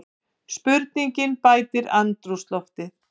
Spurningin bætir andrúmsloftið.